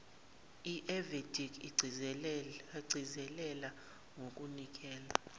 evedic agcizelela ngokunikela